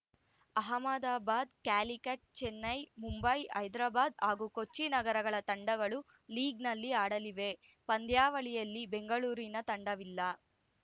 ಅಹಮದಾಬಾದ್‌ ಕ್ಯಾಲಿಕಟ್‌ ಚೆನ್ನೈ ಮುಂಬೈ ಹೈದರಾಬಾದ್‌ ಹಾಗೂ ಕೊಚ್ಚಿ ನಗರಗಳ ತಂಡಗಳು ಲೀಗ್‌ನಲ್ಲಿ ಆಡಲಿವೆ ಪಂದ್ಯಾವಳಿಯಲ್ಲಿ ಬೆಂಗಳೂರಿನ ತಂಡವಿಲ್ಲ